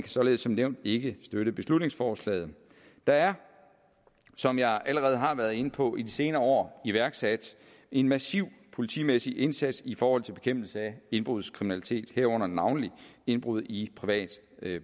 således som nævnt ikke støtte beslutningsforslaget der er som jeg allerede har været inde på i de senere år iværksat en massiv politimæssig indsats i forhold til bekæmpelse af indbrudskriminalitet herunder navnlig indbrud i privat